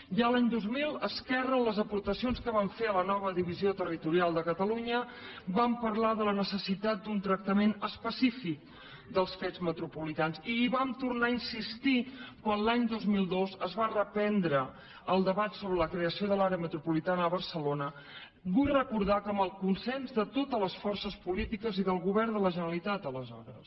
ja a l’any dos mil esquerra en les aportacions que vam fer a la nova divisió territorial de catalunya vam parlar de la necessitat d’un tractament específic dels fets metropolitans i hi vam tornar a insistir quan l’any dos mil dos es va reprendre el debat sobre la creació de l’àrea metropolitana a barcelona vull recordar que amb el consens de totes les forces polítiques i del govern de la generalitat d’aleshores